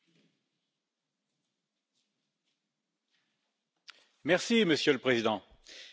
Monsieur le Président, les élections législatives en Suède sont un nouvel avertissement pour l'Union européenne.